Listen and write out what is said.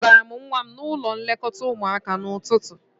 Akpọgara m nwa m n'ụlọ nlekọta ụmụaka n'ụtụtụ